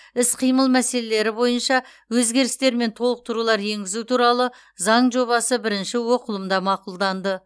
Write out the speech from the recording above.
іс қимыл мәселелері бойынша өзгерістер мен толықтырулар енгізу туралы заң жобасы бірінші оқылымда мақұлданды